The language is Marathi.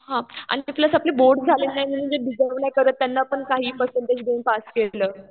हा. आणि ते प्लस आपली बोर्ड झालेली नाही म्हणून जे डिजर्व नाही करत त्यांना पण काही पर्सेंटेज देऊन पास केलं.